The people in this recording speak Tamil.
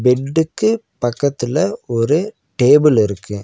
பெட்டுக்கு பக்கத்துல ஒரு டேபிள் இருக்கு.